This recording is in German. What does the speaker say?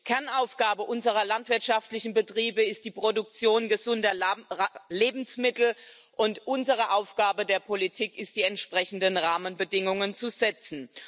Die Kernaufgabe unserer landwirtschaftlichen Betriebe ist die Produktion gesunder Lebensmittel, und unsere Aufgabe der Politik ist es, die entsprechenden Rahmenbedingungen zu setzen.